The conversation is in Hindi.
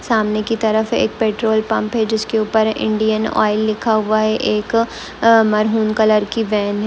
सामने की तरफ एक पेट्रोल पंप है जिसके ऊपर इंडियन ऑयल लिखा हुआ है एक मैरून कलर की वैन --